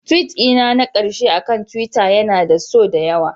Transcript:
Tweet dina na ƙarshe akan Twitter yana da so da yawa